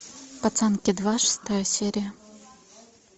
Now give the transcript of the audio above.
пацанки два шестая серия